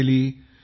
जी नमस्कार सर